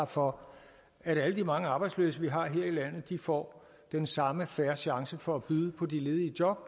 for at alle de mange arbejdsløse vi har her i landet får den samme fair chance for at byde på de ledige job